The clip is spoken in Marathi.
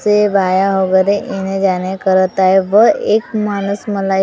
से वाया वगेरे येणे जाणे करत आहे व एक माणूस मला एक ला--